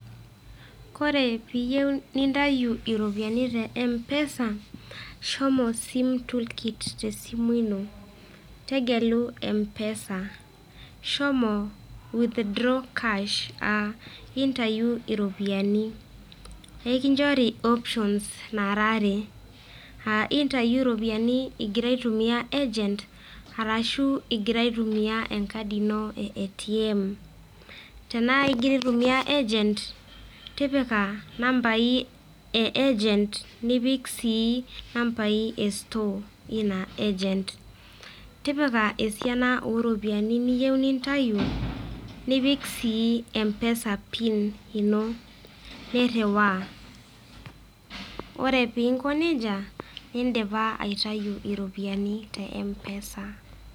ore piiyio nintayu iropiyiani te empesa, shomo sim tookit inonok, tegelu mpesa ,shomo withdraw cash intayu iropiyiani. ekinchori options naara are. intayu iropiyiani igira aitumia agent ashu igira atumia enkadi ino e ATM tenaa igira aitumia agent tipika nambai e agent nipik sii nambai e store eina agent tipika esiana ooropiyiani niyieu nintayu nipik sii mpesa pin ino niriwaa. ore pee inko nejia nidipa aitayu iropiyiani te empesa.